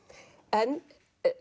en